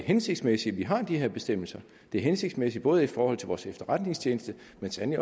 hensigtsmæssigt at vi har de her bestemmelser det er hensigtsmæssigt både i forhold til vores efterretningstjeneste